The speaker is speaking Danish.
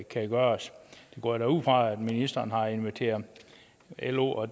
kan gøres jeg går da ud fra at ministeren har inviteret lo og